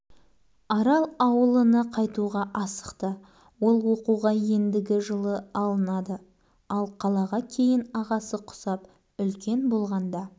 автордың аз ғана айтары бауыржан смағұлов тұрар рысқұлов атындағы орта мектептің үшінші всыныбының оқушысы оқу озаты